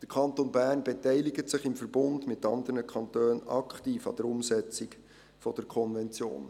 Der Kanton Bern beteiligt sich im Verbund mit anderen Kantonen aktiv an der Umsetzung der Konvention.